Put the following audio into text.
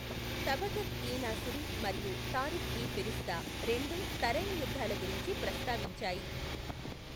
తబకత్ ఇ నాసిరి మరియు తారిఖ్ ఇ ఫిరిష్తా రెండు తరైన్ యుద్ధాల గురించి ప్రస్తావించాయి.